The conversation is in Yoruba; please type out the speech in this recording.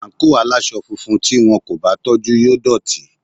Àǹkóò aláwọ̀ funfun tí wón kò bá tọ́jú yóò dọ̀tí.